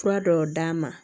Fura dɔw d'a ma